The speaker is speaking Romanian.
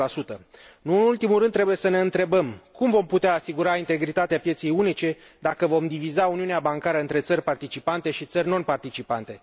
80 Nu în ultimul rând, trebuie să ne întrebăm cum vom putea asigura integritatea pieței unice dacă vom diviza uniunea bancară între țări participante și țări non participante.